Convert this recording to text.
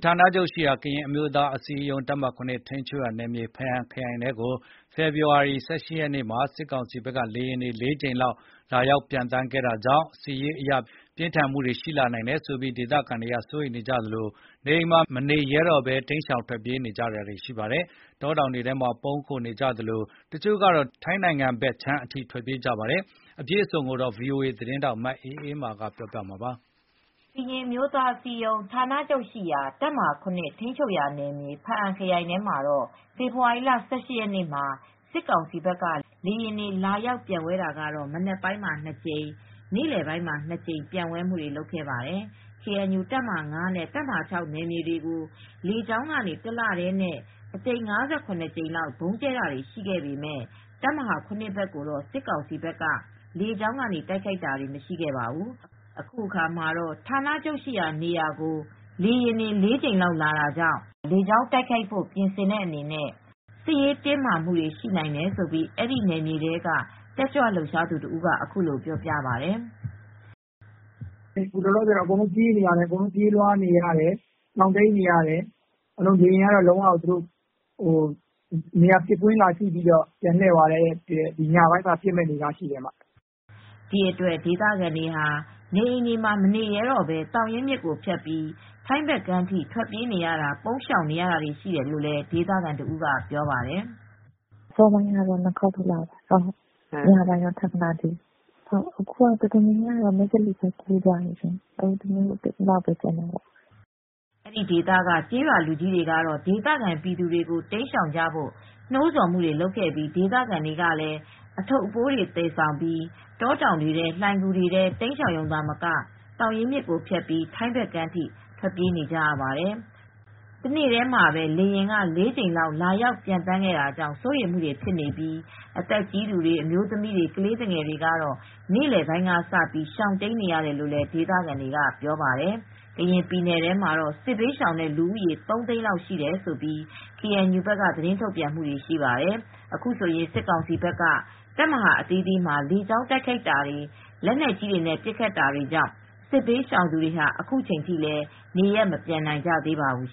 ဌာနချုပ်ရှိရာ ကရင်အမျိုးသားအစည်းအရုံး တပ်မဟာ(၇) ထိန်းချုပ်ရာနယ်မြေ ဖားအံခရိုင်ထဲကို ဖေဖေါ်ဝါရီ ၁၈ ရက်နေ့မှာ စစ်ကောင်စီဘက်က လေယာဉ်တွေ ၄ ကြိမ်လောက်လာရောက်ခဲ့တာကြောင့် စစ်ရေးအရ ပြင်းထန်နိုင်တယ်ဆိုပြီး ဒေသခံတွေစိုးရိမ်နေကြသလို နေအိမ်တွေမှာမနေရဲဘဲ တိမ်းရှောင်နေကြပါတယ်။ တောတောင်တွေထဲပုန်းအောင်းနေကြသလို တချို့ကတော့ ထိုင်းဘက်ခြမ်းထိ ထွက်ပြေးနေကြတာပါ။ အပြည့်အစုံကို ဗွီအိုအေသတင်းထောက် မအေးအေးမာက သတင်းပေးပို့ထားပါတယ်။ ကရင်အမျိုးသားအစည်းအရုံးဌာနချုပ်ရှိရာ တပ်မဟာ (၇) ထိန်းချုပ်ရာနယ်မြေ၊ ဖားအံခရိုင်ထဲမှာ ဖေဖေါ်ဝါရီလ ၁၈ ရက်နေ့မှာ စစ်ကောင်စီဘက်က လေယာဉ်တွေဟာ မနက်ပိုင်းမှာ ၂ ကြိမ်၊ နေ့လယ်ပိုင်းမှာ ၂ ကြိမ် ပျံဝဲခဲ့ပါတယ်။ ကေအန်ယူ တပ်မဟာ (၅) နဲ့ တပ်မဟာ (၆) နယ်မြေတွေကို လေကြောင်းကနေ တလတည်း ၅၇ ကြိမ်လောက် ဗုံးကြဲတာတွေရှိပေမယ့် တပ်မဟာ (၇) ဘက်ကိုတော့ စစ်ကောင်စီဘက်က လေကြောင်းကနေ တိုက်ခိုက်တာမရှိခဲ့ပါဘူး။ အခုအခါမှာ ဌာနချုပ်ရှိရာနေရာကို လေယာဉ်တွေ ၄ ကြိမ်လောက်လာတာကြောင့် လေကြောင်းတိုက်ခိုက်ဖို့ပြင်ဆင်တဲ့အနေနဲ့ စစ်ရေးတင်းမာမှုတွေရှိနိုင်တယ်လို့အဲဒီနယ်မြေထဲက တက်ကြွလှုပ်ရှားသူတဦးက အခုလိုပြောပြပါတယ်။ “အခုလောလောဆယ်တော့ ရှောင်တိမ်းရတယ်။ ပြေးလွှားနေရတယ်။ အခု လေယာဉ်ကတော့ ပစ်ကွင်းကိုကြည့်ပြီး ပြန်လှည့်သွားတယ်။ အခုတော့ အားလုံးကရှောင်တိမ်းနေရတယ်။ ညပိုင်းမှာ လာရောက်ပစ်ခတ်မဲ့အနေအထားရှိတယ်။ အန္တရာယ်ရှိတဲ့အနေအထားကြောင့်လေ။” ဒီအတွက် ဒေသခံတွေဟာ နေအိမ်တွေမှာမနေရဲတော့ဘဲ သောင်ရင်းမြစ်ကိုဖြတ်ပြီး ထိုင်းဘက်ကမ်းထိ ထွက်ပြေးပုန်းရှောင်နေရတယ်လို့ဒေသခံတဦးက ပြောပြပါတယ်။ “အစောပိုင်းက လေယာဉ် ၂ ခေါက်လာတယ်။ ညပိုင်းတော့ ထပ်မလာသေးဘူး။ အခုက အတော်များများက မယ့်သလေဘက်ကူးသွားတယ်။ ဒီဘက်မှာလူနည်းနည်းပဲကျန်တော့တယ်။” အဲဒီဒေသက ကျေးရွာလူကြီးတွေကတော့ဒေသခံပြည်သူတွေကို တိမ်းရှောင်ကြဖို့ နှိုးဆော်ခဲ့ပြီး ဒေသခံတွေလည်း အထုတ်တွေသယ်ပိုးပြီး တောတောင်တွေထဲ လှိုင်ဂူတွေထဲတိမ်းရှောင်ရုံသာမက သောင်ရင်းမြစ်ကိုဖြတ်ပြီး ထိုင်းဘက်ခြမ်းအထိပါ ထွက်ပြေးနေကြပါတယ်။ တနေ့တည်းလေယာဉ် ၄ကြိမ်လာရောက်ပံျသန်းတာကြောင့် စိုးရိမ်လာကြတာ ဖြစ်ပြီး အသက်အရွယ်ကြီးတွေ၊ အမျိုးသမီးတွေ ကလေးတွေကတော့ နေလည်ကစပြီးရှောင်တိမ်းနေကြရတယ်လို့ ဒေသခံတွေကပြောပါတယ်။ ကရင်ပြည်နယ်ထဲမှာတော့ စစ်ဘေးရှောင်လူဦးရေ ၃ သိန်းလောက်ရှိတယ်လို့ KNU က သတင်းထုတ်ပြန်ပါတယ်။ အခုဆိုရင် စစ်ကောင်စီဘက်က KNU ရဲ့ တပ်မဟာအသီးသီးမှာ လေကြောင်းတိုက်ခိုက်တာ၊ လက်နက်ကြီးတွေနဲ့ ပစ်ခတ်တာတွေရှိနေတာကြောင့် စစ်ဘေးရှောင်သူတွေဟာ အခုချိန်ထိလည်း နေရပ်မပြန်နိုင်ကြသေးပါဘူး